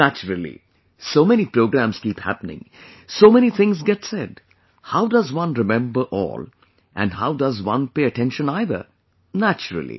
Naturally, so many programmes keep happening, so many things get said, how does one remember all and how does one pay attention either... naturally